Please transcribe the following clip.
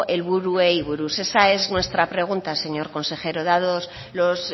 helburuei buruz esa es nuestra pregunta señor consejero dado